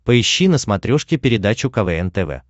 поищи на смотрешке передачу квн тв